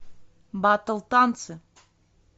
батл танцы